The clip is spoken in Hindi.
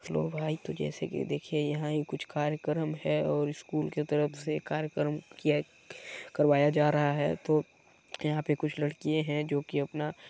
हैलो भाई तो जैसे के देखिये यहाँ ये कुछ कार्यक्रम है और स्कूल की तरफ से कार्यक्रम किया करवाया जा रहा है तो यहाँ पे कुछ लड़कियाँ है जोकि अपना--